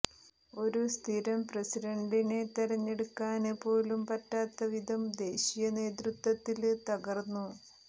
ഒരു സ്ഥിരം പ്രസിഡന്റനെ തെരഞ്ഞെടുക്കാന് പോലും പറ്റാത്ത വിധം ദേശീയ നേതൃത്വത്തില് തകര്ന്നു